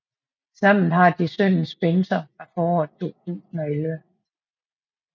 Sammen har de sønnen Spencer fra foråret 2011